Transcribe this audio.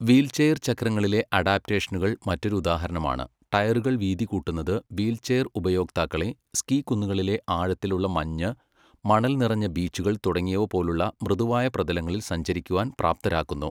Wheelchair ചക്രങ്ങളിലെ അഡാപ്റ്റേഷനുകൾ മറ്റൊരു ഉദാഹരണമാണ്, ടയറുകൾ വീതി കൂട്ടുന്നത് വീൽചെയർ ഉപയോക്താക്കളെ സ്കീ കുന്നുകളിലെ ആഴത്തിലുള്ള മഞ്ഞ്, മണൽ നിറഞ്ഞ ബീച്ചുകൾ തുടങ്ങിയവ പോലുള്ള മൃദുവായ പ്രതലങ്ങളിൽ സഞ്ചരിക്കാൻ പ്രാപ്തരാക്കുന്നു.